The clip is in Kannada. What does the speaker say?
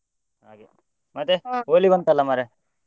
ಮತ್ತೆ ಬಂತಲ್ಲ ಮರ್ರೆ.